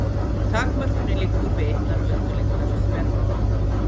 Takmörkunin liggur við einnar öldulengdar þvermál.